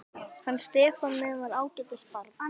Hann Stefán minn var ágætis barn.